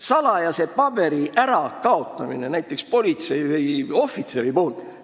Kui näiteks politseiohvitser kaotab ära salajase paberi, siis see peaks tähendama tribunali.